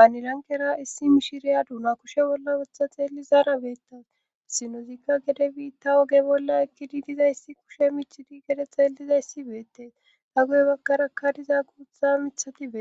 aanilankera issi mishiriya duuna kushe bolla wutha xeelli zaara beetas sinozikka gede biitta oge bolla ekkidi dizayssi kushe michidi gede xeelizayssi beettees ha goye baggarakka diza guutha mithatibee